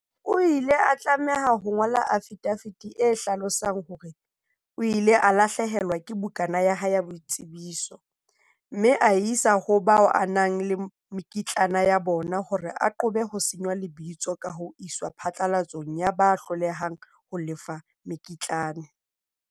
O ile a tlameha ho ngola afidafiti e hlalosang hore o ile a lahlehelwa ke bukana ya hae ya boitsebiso, mme a e isa ho bao a nang le mekitlane ya bona hore a qobe ho senngwa lebitso ka ho iswa phatlalatsong ya ba hlolehang ho lefa mekitlane.